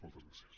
moltes gràcies